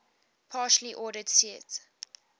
partially ordered set